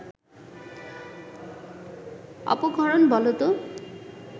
অপক্ষরণ বলত